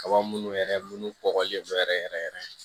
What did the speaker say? Kaba minnu yɛrɛ minnu bɔgɔlen bɛ yɛrɛ yɛrɛ yɛrɛ